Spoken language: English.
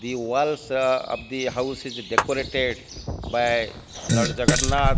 the walls of the house is decorated by lord jagannath.